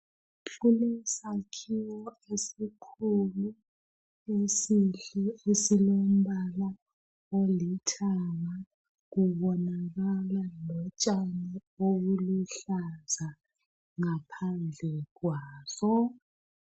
Kulesakhiwo esikhulu esihle esilombala olithanga. Kubonakala utshani obuluhlaza ngaphandle kwaso.